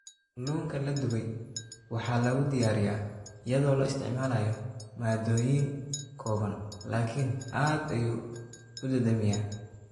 Kalluunka la dubay waxaa lagu diyaariyaa iyadoo la isticmaalayo maaddooyin kooban laakiin aad ayuu u dhadhamiyaa.